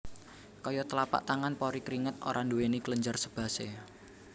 Kaya tlapak tangan pori kringet ora nduwèni kelenjar sebasea